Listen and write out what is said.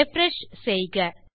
refresh செய்க